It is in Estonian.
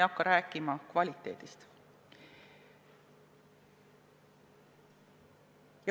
Kvaliteedist ma ei räägigi.